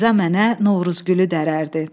İrza mənə Novruzgülü dərərdi.